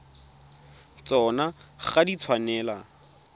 tsona ga di a tshwanela